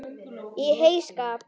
Í heyskap